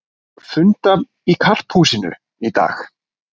Funda í Karphúsinu í dag